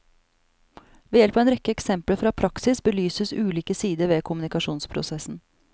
Ved hjelp av en rekke eksempler fra praksis belyses ulike sider ved kommunikasjonsprosessen.